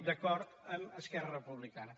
d’acord amb esquerra republicana